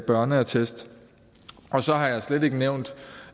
børneattest og så har jeg slet ikke nævnt